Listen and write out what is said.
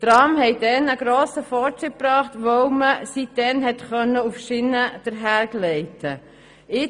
Die Trams brachten damals einen grossen Fortschritt, weil man seither auf Schienen einher gleiten konnte.